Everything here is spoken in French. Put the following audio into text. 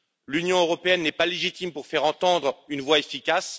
L'Union européenne n'est pas légitime pour faire entendre une voix efficace